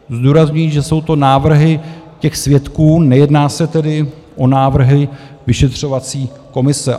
- Zdůrazňuji, že jsou to návrhy těch svědků, nejedná se tedy o návrhy vyšetřovací komise.